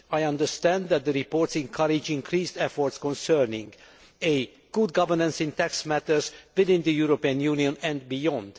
I understand that the reports encourage increased efforts concerning, firstly, good governance in tax matters, both in the European Union and beyond